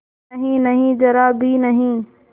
नहींनहीं जरा भी नहीं